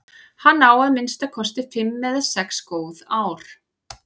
Hann á að minnsta kosti fimm eða sex góð ár.